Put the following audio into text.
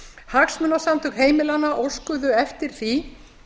hagsmunasamtök heimilanna óskuðu eftir því